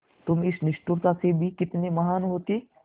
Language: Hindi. तुम इस निष्ठुरता में भी कितने महान् होते